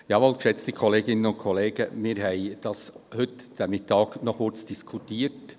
Jawohl, geschätzte Kolleginnen und Kollegen, wir haben heute über Mittag kurz darüber diskutiert.